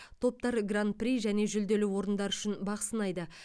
топтар гран при және жүлделі орындар үшін бақ сынайды